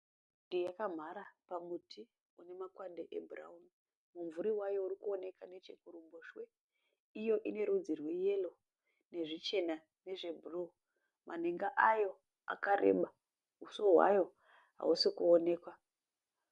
Shiri yakamhara pamuti une makwande ebhurawuni mumvuri wayo uri kuoneka neche kuruboshwe iyo ine rudzi rweyero nezvichena nezve bhuruu manhenga ayo akareba huso hwayo hahusi kuonekwa.